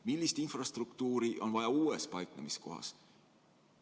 Millist infrastruktuuri on vaja uues paiknemiskohas?